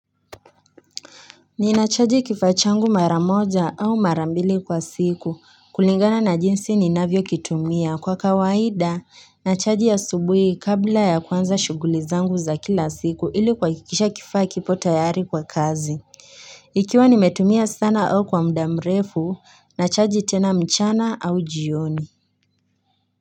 Ninachaji kifaa changu mara moja au mara mbili kwa siku kulingana na jinsi ninavyokitumia kwa kawaida nachaji asubuhi kabla ya kuanza shughuli zangu za kila siku ili kuhakikisha kifaa kipo tayari kwa kazi. Ikiwa nimetumia sana au kwa muda mrefu nachaji tena mchana au jioni.